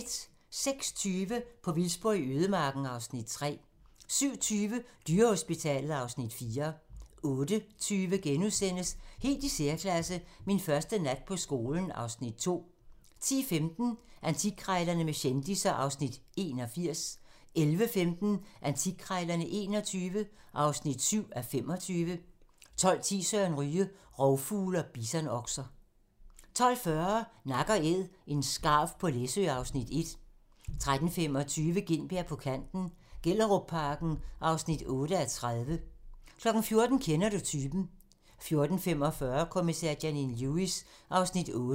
06:20: På vildspor i ødemarken (Afs. 3) 07:20: Dyrehospitalet (Afs. 4) 08:20: Helt i særklasse - Min første nat på skolen (Afs. 2)* 10:15: Antikkrejlerne med kendisser (Afs. 81) 11:15: Antikkrejlerne XXI (7:25) 12:10: Søren Ryge: Rovfugle og bisonokser 12:40: Nak & æd - en skarv på Læsø (Afs. 1) 13:25: Gintberg på kanten - Gellerupparken (8:30) 14:00: Kender du typen? 14:45: Kommissær Janine Lewis (8:19)